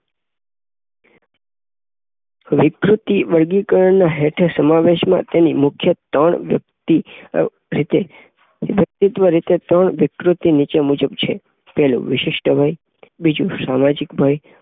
વિકૃતિ વેદીકરણ ના હેઠે સમાવેશમાં તેની મુખ્ય થાન વ્યક્તિ અ ભક્તિત્વઃરીતે ત્રણ વિકૃતિ નીચે મુજબ છે. પેલું વિશિષ્ટભય બીજું સામાજિક ભય